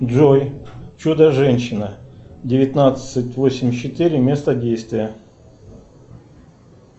джой чудо женщина девятнадцать восемьдесят четыре место действия